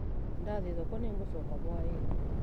Ndathĩĩ thoko nĩgũcooka hwainĩ